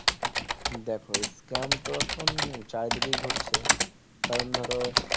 দেখো scam তো এখন চারিদিকে ঘটছে কারণ ধরো